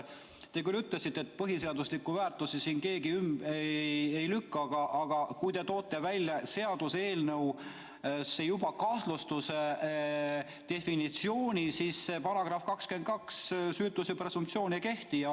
Te küll ütlesite, et põhiseaduslikke väärtusi siin keegi ümber ei lükka, aga kui te toote seaduseelnõus välja juba kahtlustuse definitsiooni, siis see § 22, süütuse presumptsioon, ei kehti.